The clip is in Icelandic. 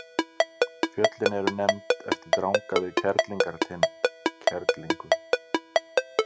Fjöllin eru nefnd eftir dranga við Kerlingartind, Kerlingu.